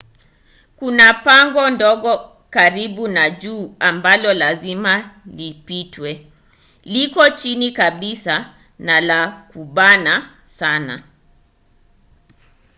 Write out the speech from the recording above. kuna pango ndogo karibu na juu ambalo lazima lipitwe liko chini kabisa na la kubana sana